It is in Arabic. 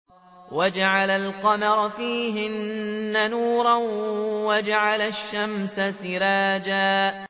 وَجَعَلَ الْقَمَرَ فِيهِنَّ نُورًا وَجَعَلَ الشَّمْسَ سِرَاجًا